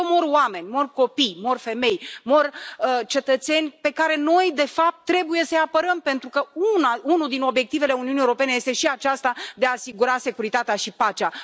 Acolo mor oameni, mor copii, mor femei, mor cetățeni pe care noi, de fapt, trebuie să îi apărăm, pentru că unul dintre obiectivele Uniunii Europene este și acesta de a asigura securitatea și pacea.